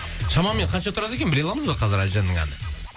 шамамен қанша тұрады екен біле аламыз ба қазір әлжанның әні